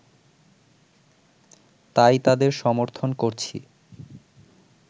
তাই তাদের সমর্থন করছি